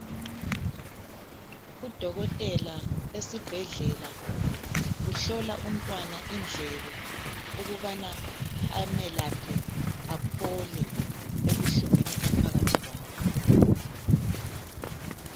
Udokotela esibhedlela uhlola umntwana indlebe ukubana amelaphe aphole ebuhlungwini aphakathi kwabo.